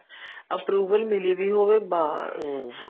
approval ਮਿਲੀ ਪਈ ਹੋਵੇ ਬੱਸ